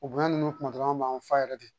O bonya ninnu kuma dɔ la an b'an fa yɛrɛ de